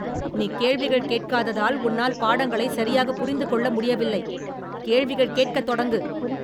நீ கேள்விகள் கேட்காததால், உன்னால் பாடங்களை சரியாக புரிந்து கொள்ள முடியவில்லை. கேள்விகள் கேட்கத் தொடங்கு.